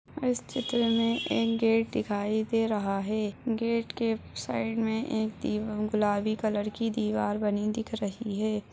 इस चित्र में ए गेट दिखाई दे रहा है गेट के साइड में एक दी गुलाबी कलर की दिवार बनी दिख रही है।